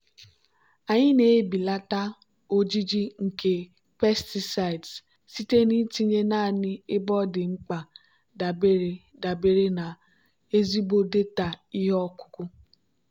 anyị na-ebelata ojiji nke pesticides site n'itinye naanị ebe ọ dị mkpa dabere dabere na ezigbo data ihe ọkụkụ.